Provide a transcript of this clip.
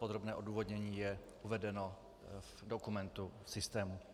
Podrobné odůvodnění je uvedeno v dokumentu v systému.